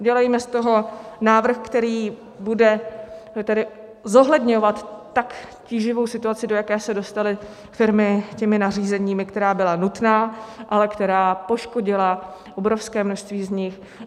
Udělejme z toho návrh, který bude tedy zohledňovat tak tíživou situaci, do jaké se dostaly firmy těmi nařízeními, která byla nutná, ale která poškodila obrovské množství z nich.